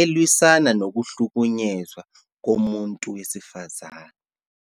elwisana nokuhlukunyezwa komuntu wesifazane.